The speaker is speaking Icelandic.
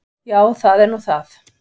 Já, það er nú það.